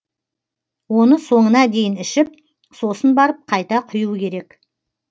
оны соңына дейін ішіп сосын барып қайта құю керек